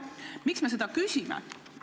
Miks me seda küsime?